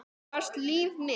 Þú varst líf mitt.